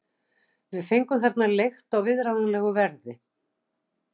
Við fengum þarna leigt á viðráðanlegu verði.